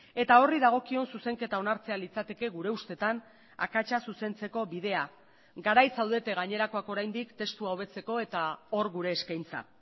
eta horri dagokion zuzenketa onartzea litzateke gure ustetan akatsa zuzentzeko bidea garaiz zaudete gainerakoak oraindik testua hobetzeko eta hor gure eskaintza